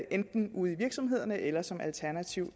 enten ude i virksomhederne eller som alternativ